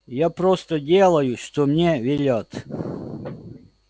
я просто делаю что мне велят